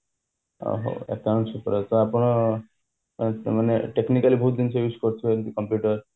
ଓହହୋ accounts ଉପରେ ତ ଆପଣ ମାନେ technically ବହୁତ ଜିନିଷ use କରୁଥିବେ computer